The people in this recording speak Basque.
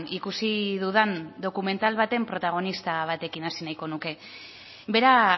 ikusi dudan dokumental baten protagonista batekin hasi nahiko nuke bera